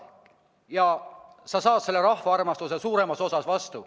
Ja siis saad sa selle rahva armastuse ka vastu.